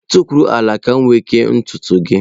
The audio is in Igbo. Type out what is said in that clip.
Tukwuru ala! Ka m wee ike kee ntutu gị.